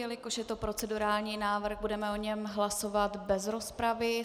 Jelikož je to procedurální návrh, budeme o něm hlasovat bez rozpravy.